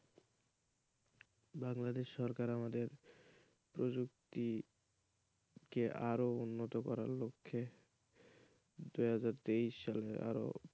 বাংলাদেশ সরকার আমাদের প্রযুক্তিকে আরো উন্নতি করার লক্ষ্যে দুই হাজার তেইশ সালে আরও,